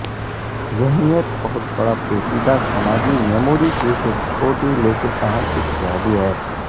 ذہنیت بہت بڑا پیچیدہ سماجی میموری کی ایک چھوٹی لیکن اہم اتحادی ہے